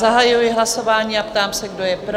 Zahajuji hlasování a ptám se, kdo je pro?